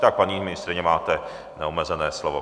Tak paní ministryně, máte neomezené slovo.